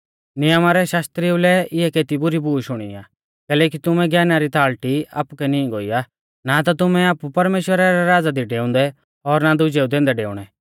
नियमा रै शास्त्रिऊ लै इऐ केती बुरी बूश हूणी आ कैलैकि तुमुऐ ज्ञाना री ताल़टी आपुकै नीं गोई आ ना ता तुमै आपु परमेश्‍वरा रै राज़ा दी डेऊंदै और ना दुजेऊ दैंदै डेऊणै